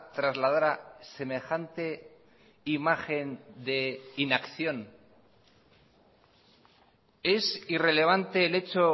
trasladara semejante imagen de inacción es irrelevante el hecho